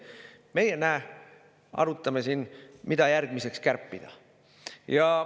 Aga meie, näe, arutame siin, mida järgmiseks kärpida.